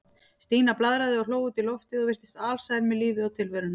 Stína blaðraði og hló út í loftið og virtist alsæl með lífið og tilveruna.